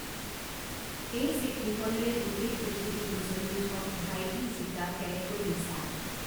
এই চিকমিকনিৰে গোটেই পৃথিৱী উজ্বলি উঠক ভাইটি জিকা কেনেকৈ দিছা